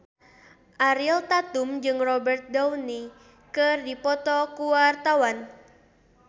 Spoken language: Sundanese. Ariel Tatum jeung Robert Downey keur dipoto ku wartawan